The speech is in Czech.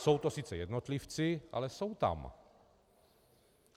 Jsou to sice jednotlivci, ale jsou tam.